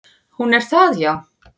"""Hún er það, já."""